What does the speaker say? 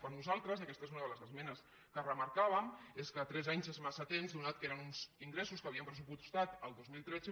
per nosaltres i aquesta és una de les esmenes que remarcàvem és que tres anys és massa temps atès que eren uns ingressos que havíem pressupostat el dos mil tretze